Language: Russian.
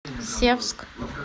севск